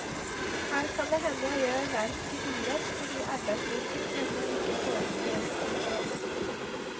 Her kan det hende jeg gjør verket urett fordi arbeidsboken ennå ikke foreligger. punktum